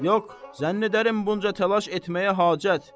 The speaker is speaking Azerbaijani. Yox, zənn edərəm bunca təlaş etməyə hacət.